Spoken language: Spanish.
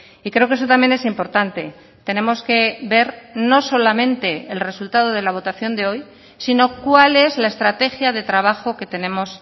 y creo que eso también es importante tenemos que ver no solamente el resultado de la votación de hoy sino cuál es la estrategia de trabajo que tenemos